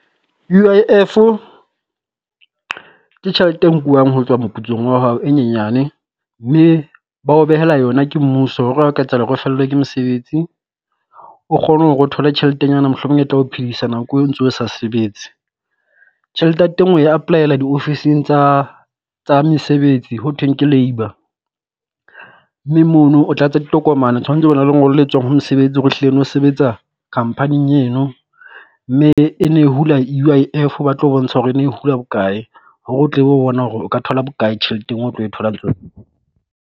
U_I_F-o ke tjhelete e nkuwang ho tswa moputsong wa hao e nyenyane, mme ba o behela yona ke mmuso hore ha o ka etsahala hore fellwe ke mosebetsi o kgone hore o thole tjhelete nyana mohlomong e tla o phedisa nako eo o ntso sa sebetse. Tjhelete ya teng o apply-ela di ofising tsa tsa mesebetsi ho thweng ke labour, mme mono o tlatsa ditokomane tshwantse o bo na le lengolo le tswang ho mosebetsi hore ehlile no sebetsa company-ing eno. Mme e ne e hula e U_I_F ba tlo bontsha hore ne e hula bokae, hore o tle ho bona hore o ka thola bokae tjheleteng o tlo e thola